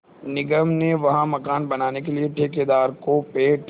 निगम ने वहाँ मकान बनाने के लिए ठेकेदार को पेड़